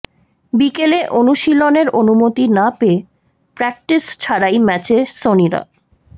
বিকেলে অনুশীলনের অনুমতি না পেয়ে প্র্যাক্টিস ছাড়াই ম্যাচে সনিরা